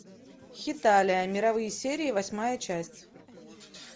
хеталия мировые серии восьмая часть